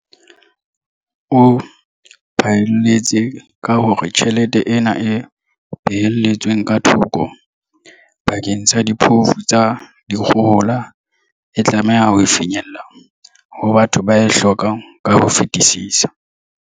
O phaelletse ka hore tjhelete ena e behelletsweng ka thoko bakeng sa diphofu tsa dikgohola e tlameha ho finyella ho batho ba e hlokang ka ho fetisisa.